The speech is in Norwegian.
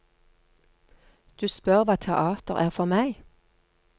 Du spør hva teater er for meg.